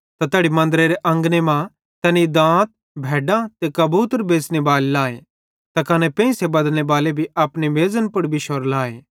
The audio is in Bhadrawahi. त तैड़ी मन्दरेरे अंगने मां तैनी बलिदानेरे लेइ दांत भैड्डां त कबूतर बेच़ने बाले लाए त कने पेंइसे बदलनेबाले भी अपने मेज़न पुड़ बिश्शोरे लाए